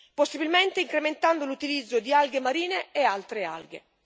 possibilmente incrementando l'utilizzo di alghe marine e altre alghe.